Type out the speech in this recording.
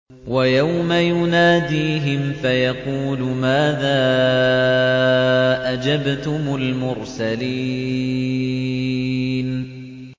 وَيَوْمَ يُنَادِيهِمْ فَيَقُولُ مَاذَا أَجَبْتُمُ الْمُرْسَلِينَ